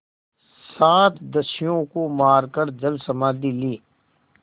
सात दस्युओं को मारकर जलसमाधि ली